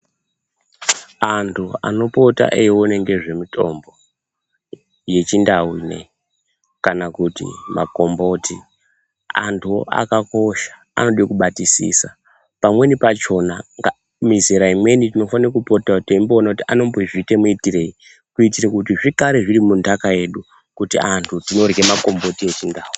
Antu anopota eione ngezvemutombo yechindau inoiyi kana kuti makomboti. Antu akakosha anode kubatisisa pamweni pachona mizera imweni tinofanakopotavo teimboona kuti anombozviita miitirei. Kuitira kuti zvigare zviri mundaka yedu kuti antu tinorye makomboti echindau.